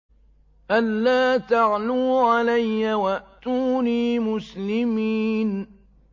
أَلَّا تَعْلُوا عَلَيَّ وَأْتُونِي مُسْلِمِينَ